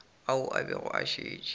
ao a bego a šetše